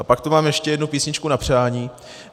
A pak tu mám ještě jednu písničku na přání.